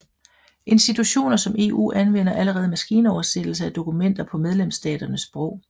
Institutioner som EU anvender allerede maskinoversættelse af dokumenter på medlemsstaternes sprog